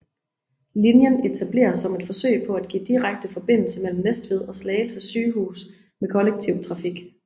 Linjen etableredes som et forsøg på at give direkte forbindelse mellem Næstved og Slagelse Sygehus med kollektiv trafik